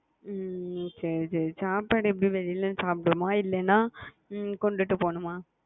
ஹம் சரி சரி சாப்பாடு எப்பிடி வெளியில சாப்பிடுவோமா இல்லைன்னா கொண்டுட்டு போணுமா